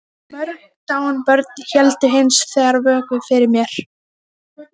Ásdór, ferð þú með okkur á miðvikudaginn?